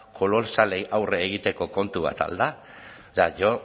kolosalei aurre egiteko kontu bat al da o sea yo